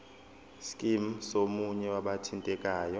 scheme somunye wabathintekayo